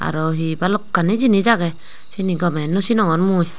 aro hi balokkani jinis agey siyeni gomey nw sinongor mui.